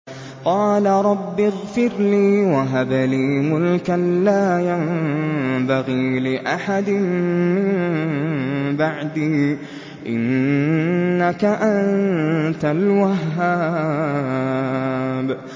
قَالَ رَبِّ اغْفِرْ لِي وَهَبْ لِي مُلْكًا لَّا يَنبَغِي لِأَحَدٍ مِّن بَعْدِي ۖ إِنَّكَ أَنتَ الْوَهَّابُ